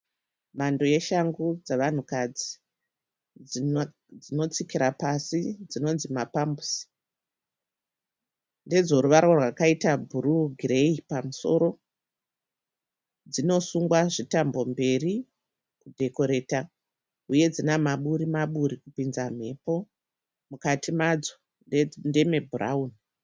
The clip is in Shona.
Mhando yeshangu dzavanhukadzi dzinotsikira pasi dzinonzi mapambusi . Ndedzoruvara rwakaita bhuruwu, gireyi pamusoro. Dzinosungwa zvitambo mberi, kudhokoreta, uye dzina maburi maburi kupidza mhepo. Mukati madzo ndeme bhurawuni.